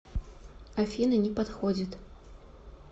афина не подходит